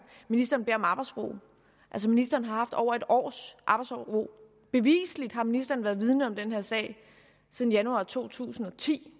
ministeren beder om arbejdsro altså ministeren har haft over et års arbejdsro beviseligt har ministeren været vidende om den her sag siden januar to tusind og ti